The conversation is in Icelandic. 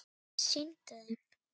Sýndu þeim!